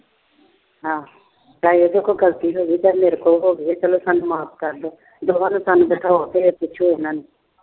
ਚਾਹੇਂ ਇਹਦੇ ਕੋਲੋ ਗਲਤੀ ਹੋ ਗਈ, ਚਾਹੇ ਮੇਰੇ ਕੋਲੋ ਗਲਤੀ ਹੋ ਗਈ। ਸਾਨੂੰ ਮਾਫ ਕਰ ਦੋ। ਬਿਠਾਓ ਤੇ ਠਠੋਰ ਕੇ ਪੁੱਛੋ ਉਹਨਾਂ ਨੂੰ।